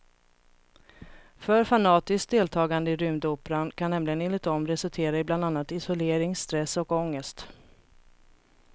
För fanatiskt deltagande i rymdoperan kan nämligen enligt dem resultera i bland annat isolering, stress och ångest.